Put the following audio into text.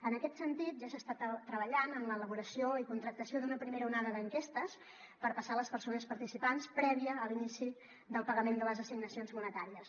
en aquest sentit ja s’està treballant en l’elaboració i contractació d’una primera onada d’enquestes per passar a les persones participants prèvia a l’inici del pagament de les assignacions monetàries